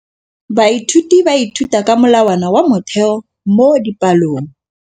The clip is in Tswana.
Baithuti ba ithuta ka molawana wa motheo mo dipalong.